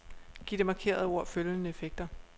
Giv det markerede ord følgende effekter.